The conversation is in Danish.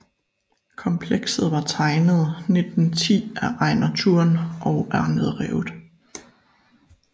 Komplekset var tegnet 1910 af Ejnar Thuren og er nedrevet